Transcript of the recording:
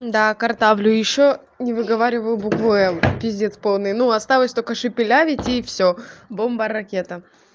да картавлю ещё не выговариваю букву л пиздец полный ну осталось только шепелявить и всё бомба ракета